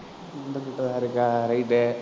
நம்ம கிட்ட தான் இருககா right